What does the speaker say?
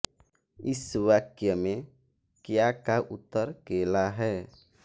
इस वाक्य में क्या का उत्तर केला है